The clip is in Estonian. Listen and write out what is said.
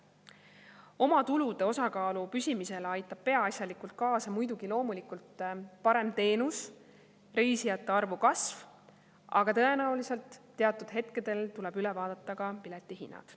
Omatulude osakaalu püsimisele aitab peaasjalikult kaasa muidugi parem teenus, reisijate arvu kasv, aga tõenäoliselt teatud hetkedel tuleb üle vaadata ka piletihinnad.